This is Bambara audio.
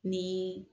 Ni